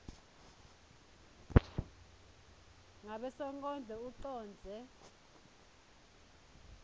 ngabe sonkondlo ucondze